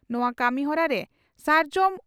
ᱱᱚᱣᱟ ᱠᱟᱹᱢᱤᱦᱚᱨᱟ ᱨᱮ ᱥᱟᱨᱡᱚᱢ